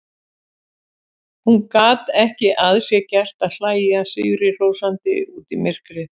Hún gat ekki að sér gert að hlæja sigrihrósandi út í myrkrið.